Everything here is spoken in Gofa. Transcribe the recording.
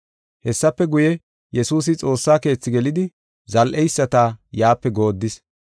Hessafe guye, Yesuusi Xoossa Keethi gelidi zal7eyisata yaape goodis.